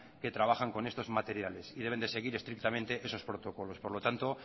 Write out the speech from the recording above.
que trabajan con estos materiales y deben de seguir estrictamente esos protocolos por lo tanto